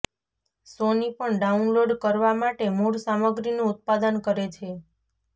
સોની પણ ડાઉનલોડ કરવા માટે મૂળ સામગ્રીનું ઉત્પાદન કરે છે